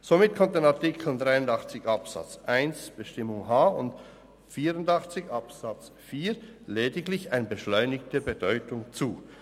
Somit kommt dann Artikel 83 Absatz 1 Buchstabe h und Artikel 84 Absatz 4 lediglich eine beschleunigende Bedeutung zu.